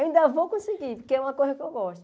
Ainda vou conseguir, porque é uma coisa que eu gosto.